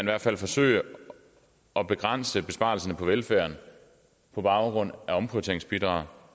hvert fald forsøge at begrænse besparelserne på velfærden på baggrund af omprioriteringsbidraget